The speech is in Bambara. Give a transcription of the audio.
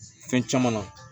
Fɛn caman na